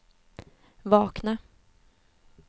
vakna